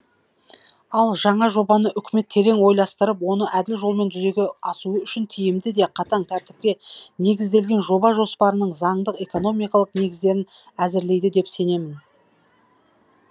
ал жаңа жобаны үкімет терең ойластырып оны әділ жолмен жүзеге асуы үшін тиімді де қатаң тәртіпке негізделген жоба жоспарын заңдық экономикалық негіздерін әзірлейді деп сенемін